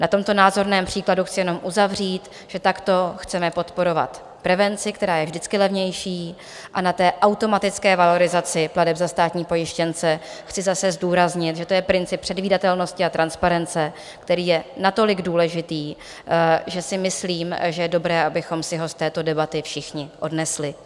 Na tomto názorném případu chci jenom uzavřít, že takto chceme podporovat prevenci, která je vždycky levnější, a na té automatické valorizaci plateb za státní pojištěnce chci zase zdůraznit, že to je princip předvídatelnosti a transparence, který je natolik důležitý, že si myslím, že je dobré, abychom si ho z této debaty všichni odnesli.